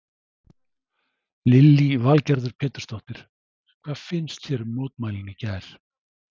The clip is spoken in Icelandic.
Lillý Valgerður Pétursdóttir: Hvað fannst þér um mótmælin í gær?